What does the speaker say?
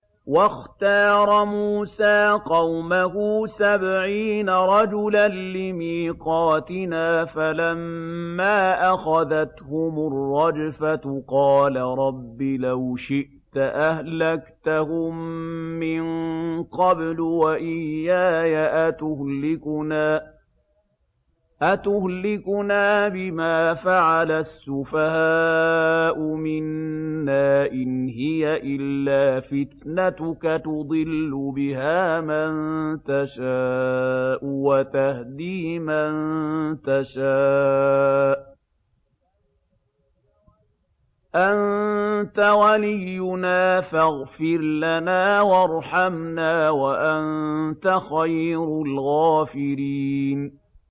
وَاخْتَارَ مُوسَىٰ قَوْمَهُ سَبْعِينَ رَجُلًا لِّمِيقَاتِنَا ۖ فَلَمَّا أَخَذَتْهُمُ الرَّجْفَةُ قَالَ رَبِّ لَوْ شِئْتَ أَهْلَكْتَهُم مِّن قَبْلُ وَإِيَّايَ ۖ أَتُهْلِكُنَا بِمَا فَعَلَ السُّفَهَاءُ مِنَّا ۖ إِنْ هِيَ إِلَّا فِتْنَتُكَ تُضِلُّ بِهَا مَن تَشَاءُ وَتَهْدِي مَن تَشَاءُ ۖ أَنتَ وَلِيُّنَا فَاغْفِرْ لَنَا وَارْحَمْنَا ۖ وَأَنتَ خَيْرُ الْغَافِرِينَ